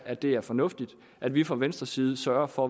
at det er fornuftigt at vi fra venstres side sørger for